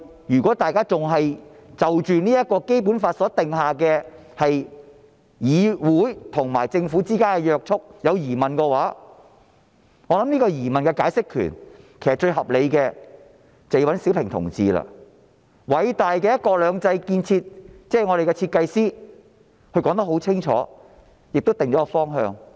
如果大家就《基本法》中對議會與政府之間的約束有疑問，我相信要對疑問作最合理的解釋，便要找小平同志了，他是偉大的"一國兩制"的設計師，他已說得很清楚，亦定出了方向。